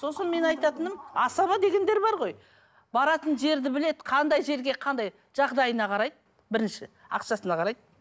сосын мен айтатыным асаба дегендер бар ғой баратын жерді біледі қандай жерге қандай жағдайына қарайды бірінші ақшасына қарайды